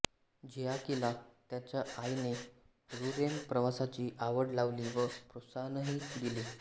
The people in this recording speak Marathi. झियाकेला त्याच्या आईने रुरेन प्रवासाची आवड लावली व प्रोत्साहनही दिले